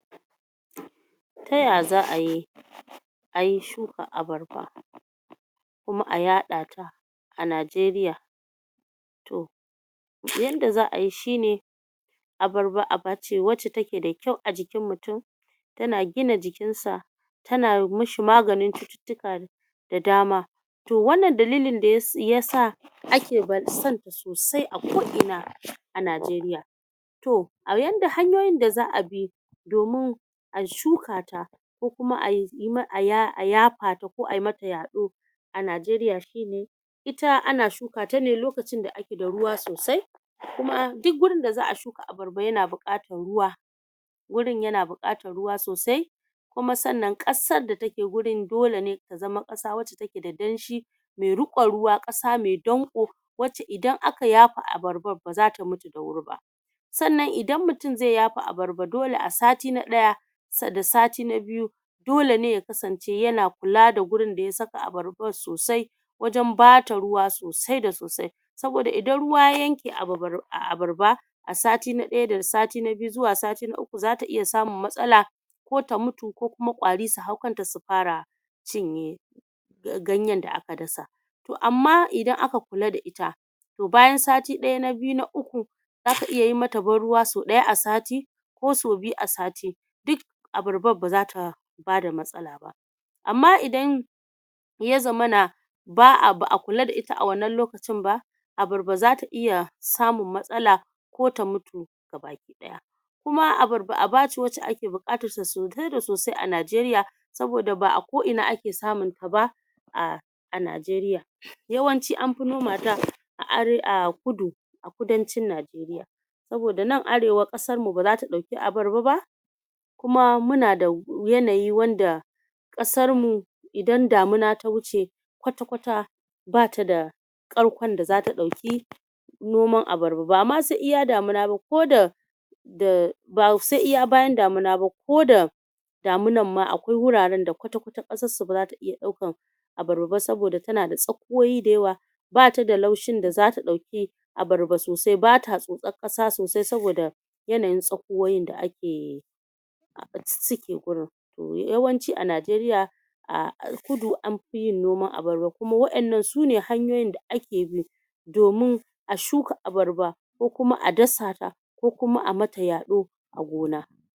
Ta ya za'ayi ayi shukar abarba kuma a yaɗata a Nigeria? to yanda za'ayi shine abarba aba ce wacce ta ke da kyau a jikin mutum, ta na gina jikinsa ta na mashi maganin cututtuka da dama, to wannan dalilin dai ya sa ake son ta sosai a ko ina a Nigeria, to a yanda...hanyoyin da za'a bi domin a shukata ko kuma ayi ma...ko kuma a yaɗata ai mata yaɗo a Nigeria shine: Ita ana shuka ta ne lokacin da ake da ruwa sosai, kuma duk wurin da za'a shuka abarba ya na buƙatar ruwa, wurin ya na buƙatar ruwa sosai kuma ƙasar da ta ke wurin dole ne ta zama ƙasa wacce ta ke da danshi mai riƙon ruwa ƙasa mai danƙo wacce idan aka yafa abarbar ba za ta mutu da wuri ba, sannan idan mutum zai yafa abarba dole a sati na ɗaya da sati na biyu dole ne ya kasance ya na kula da wurin da ya saka abarbar sosai wajen ba ta ruwa sosai da sosai, saboda idan ruwa ya yanke a abarba a sati na ɗaya da biyu zuwa sati na uku za ta iya samun matsala, ko ta mutu ko ƙwari su hau kanta su fara cinye ganyen da aka dasa, to amma idan aka kula da ita bayan sati na ɗaya na biyu na uku, za ka iya yi mata ban ruwa sau ɗaya a sati ko sau biyu a sati, duk abarbar ba za ta bada matsala ba, amma idan ya zama na ba a... ba a kula da ita a wannan lokacin ba, abarba za ta iya samun matsala ko ta mutu ga baki ɗaya, kuma abarba aba ce wacce ake buƙatarta sosai da sosai a Nigeria, saboda ba a ko ina ake samun ta ba a... a Nigeria, yawanci anfi noma ta a are.... a kudu a kudancin Nigeria, saboda nan arewa ƙasarmu ba za ta ɗauki abarba ba kuma mu na da yanayi wanda ƙasarmu idan damuna ta wuce kwata-kwata ba ta da ƙarkon da za ta ɗauki noman abarba ba, ba ma sai iya damuna ba ko da da... ba sai iya bayan damuna ba ko da damunar ma akwai wuraren da kwata-kwata ƙasarsu ba za ta iya ɗaukar abarba ba saboda ta na da tsakuwowi da yawa ba ta da laushin da za ta ɗauki abarba sosai ba ta tsotsar ƙasa sosai saboda yanayin tsakuwowin da ake su ke wurin, to yawanci a Nigeria a kudu anfi yin noman abarba kuma waɗannan su ne hanyoyin da ake bi domin a shuka abarba ko kuma a dasata ko kuma a ma ta yaɗo a gona.